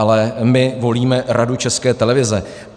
Ale my volíme Radu České televize.